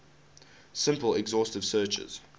simple exhaustive searches